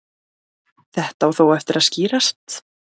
Þetta á þó eftir að skýrast.